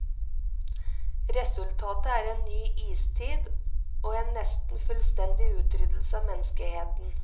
Resultatet er en ny istid, og en nesten fullstendig utryddelse av menneskeheten.